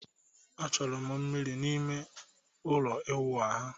Achọrọ m mmiri n'ime ime ụlọ ịwụ ahụ